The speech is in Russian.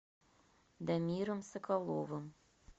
дамиром соколовым